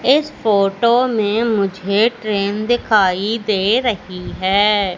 इस फोटो में मुझे ट्रेन दिखाई दे रही है।